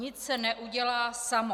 Nic se neudělá samo.